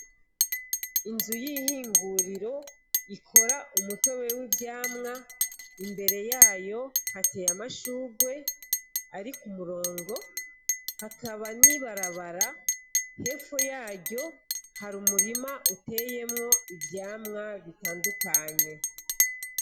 Inzu y'ihinguriro ikora umuto wewe ivyamwa imbere yayo hateye amashurwe, ariko umurongo hakaba nibarabara hefu yayo hari umurima uteyemwo ivyamwa bitandukanye.